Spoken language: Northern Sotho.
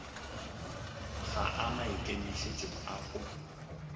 ga a maikemišetšong a go